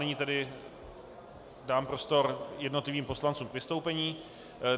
Nyní tedy dám prostor jednotlivým poslancům k vystoupení.